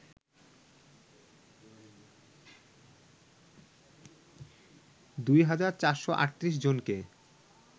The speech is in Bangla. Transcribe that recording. দুই হাজার ৪৩৮জনকে